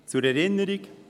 Zur Erinnerung: